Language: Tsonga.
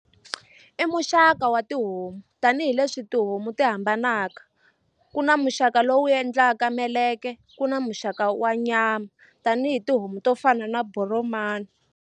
I muxaka wa tihomu tanihileswi tihomu ti hambanaka ku na muxaka lowu endlaka meleke ku na muxaka wa nyama tanihi tihomu to fana na boromani.